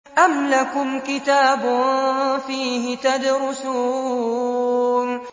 أَمْ لَكُمْ كِتَابٌ فِيهِ تَدْرُسُونَ